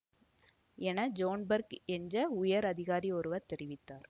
என John Burke என்ற உயர் அதிகாரி ஒருவர் தெரிவித்தார்